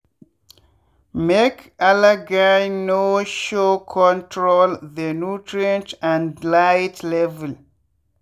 make algae no showcontrol the nutrient and light level.